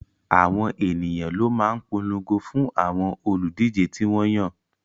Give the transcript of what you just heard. Àwọn ènìyàn ló máa ń polongo fún àwọn olùdíje tí wọ́n yàn